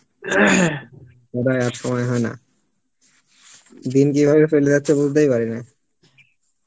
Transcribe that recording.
আর সময় হয়েনা, দিন কিভাবে চলে যাচ্ছে বুজতেই পারিনা